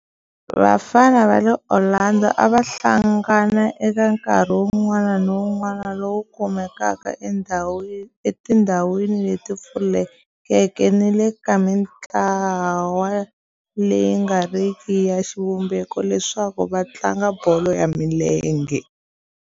Vafana va le Orlando a va hlangana eka nkarhi wun'wana ni wun'wana lowu kumekaka etindhawini leti pfulekeke ni le ka mintlawa leyi nga riki ya xivumbeko leswaku va tlanga bolo ya milenge.